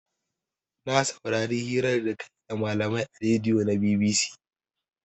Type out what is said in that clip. Na saurari hirar da kayi da malamai a radion na BBC